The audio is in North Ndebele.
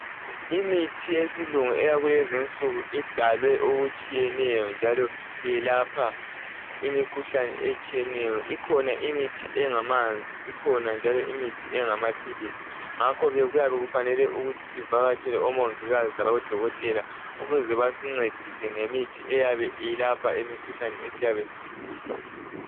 Imithi yesilungu eyakulezi insuku idalwe okutshiyeneyo njalo iyelapha imikhuhlane etshiyeneyo ikhona imithi engamanzi ikhona njalo engamaphilizi ngakho ke kuyabe kufanele ukuthi sivakatshele omongikazi labodokotela ukuze basincedise ngemithi eyabe iyelapha imikhuhlane esiyabe siyigula.